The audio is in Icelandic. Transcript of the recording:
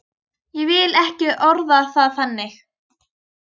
Ég vil ekki orða það þannig.